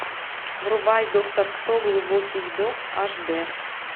врубай доктор кто глубокий вдох аш д